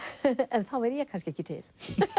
en þá væri ég kannski ekki til